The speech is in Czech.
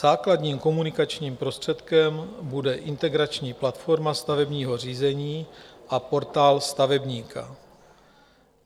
Základním komunikačním prostředkem bude integrační platforma stavebního řízení a Portál stavebníka.